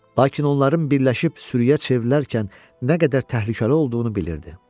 Lakin onların birləşib sürüyə çevrilərkən nə qədər təhlükəli olduğunu bilirdi.